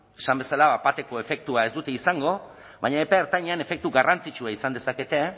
esan bezala bat bateko efektua ez dute izango baina epe ertainean efektu garrantzitsua izan dezakete